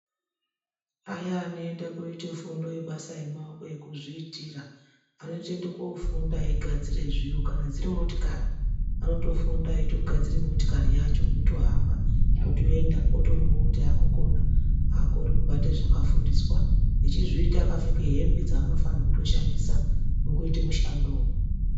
Aya anoende koite fundo yebasa yemaoko yekuzviitira, anotoende kofunda eigadzire zviro. Kana dziri motikari, anotofunda eitogadzire motikari yacho. Yotohamba, yotoenda, otoonekwe kuti akukona. Akorere kubata zvakafundiswa, echizviita akapfeke hembe dzaanofanirwe kutoshandisa mukuite mushandowo.